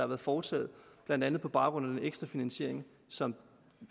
været foretaget blandt andet på baggrund af den ekstra finansiering som